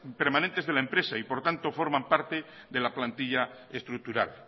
permanentes de la empresa y por lo tanto forman parte de la plantilla estructural